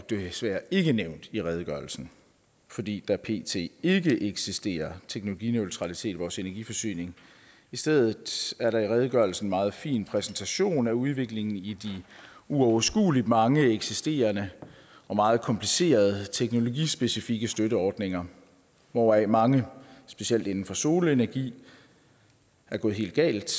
desværre ikke nævnt i redegørelsen fordi der pt ikke eksisterer teknologineutralitet i vores energiforsyning i stedet er der i redegørelsen en meget fin præsentation af udviklingen i de uoverskueligt mange eksisterende og meget komplicerede teknologispeficikke støtteordninger hvoraf mange specielt inden for solenergi er gået helt galt